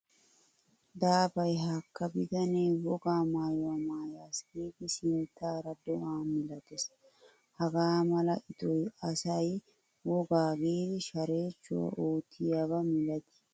Daafaay hakka bitane wogaa maayuwaa maayaasi giidi sinttaarado'a milattees. Hagaa mala ixxiyoy asay wogaa giidi sharechchuwaa oottiyaba milatti ekkiyo gishshasa.